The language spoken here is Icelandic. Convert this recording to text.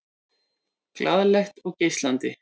Glaðlegt og geislandi.